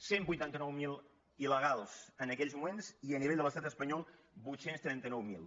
cent vuitanta·nou mil il·legals en aquells moments i a nivell de l’estat espanyol vuit cents i trenta nou mil